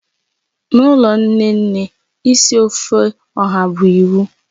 N'ụlọ nne nne, isi ofe oha bụ iwu